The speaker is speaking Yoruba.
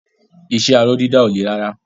Iṣẹ́ aró dídà ò le rárá.